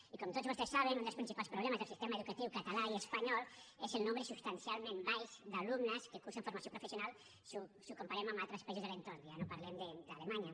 i com tots vostès saben un dels principals problemes del sistema educatiu català i espanyol és el nombre substancialment baix d’alumnes que cursen formació professional si ho comparem amb altres països de l’entorn ja no parlem d’alemanya